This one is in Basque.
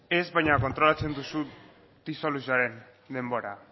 ez baina kontrolatzen duzu disoluzioaren denbora